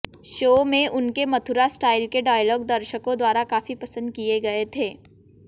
show में उनके Mathura style के डायलॉग दर्शको द्वारा काफी पसंद किये गये थे